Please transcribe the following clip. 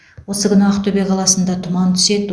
осы күні ақтөбе қаласында тұман түседі